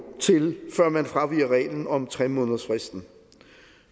til før man fraviger reglen om tre månedersfristen